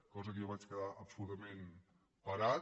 cosa que jo vaig quedar absolutament parat